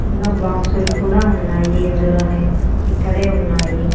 ఇంగా బాక్సుల్ కూడా ఉన్నాయి ఇందులోనే ఇక్కడే ఉన్నాయి.